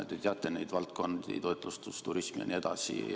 Te teate neid valdkondi: toitlustus, turism jne.